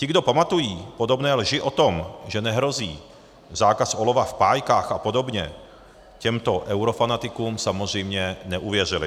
Ti, kdo pamatují podobné lži o tom, že nehrozí zákaz olova v pájkách a podobně, těmto eurofanatikům samozřejmě neuvěřili.